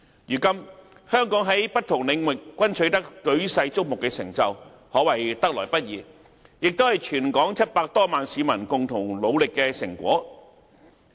如今，香港在不同領域均取得舉世矚目的成就，可謂得來不易，也是全港700多萬名市民共同努力的成果。